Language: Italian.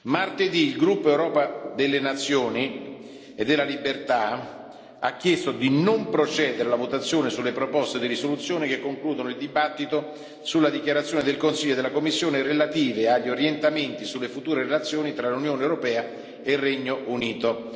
Martedì Il gruppo Europa delle Nazioni e della Libertà ha chiesto di non procedere alla votazione sulle proposte di risoluzione che concludono il dibattito sulle dichiarazioni del Consiglio e della Commissione relative agli Orientamenti sulle future relazioni tra l'Unione europea e il Regno Unito.